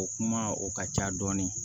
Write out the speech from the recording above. O kuma o ka ca dɔɔni